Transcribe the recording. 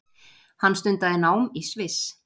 Hann stundaði nám í Sviss